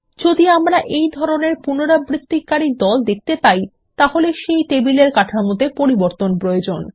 যদি আমরা এই ধরনের পুনরাবৃত্তিকারী দল দেখতে পাই তাহলে সেই টেবিল এর কাঠামোতে পরিবর্তন প্রয়োজন